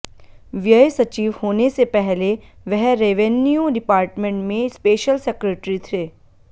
व्यय सचिव होने से पहले वह रेवेन्यू डिपार्टमेंट में स्पेशल सेक्रेटरी थे